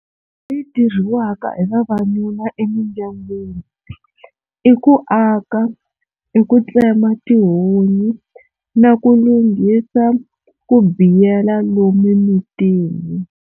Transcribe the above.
Leyi tirhiwaka hi vavanuna emindyangwini i ku aka i ku tsema tihunyi na ku lunghisa ku biyela lomu emintini.